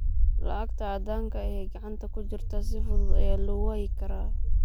Lacagta caddaanka ah ee gacanta ku jirta si fudud ayaa loo waayi karaa.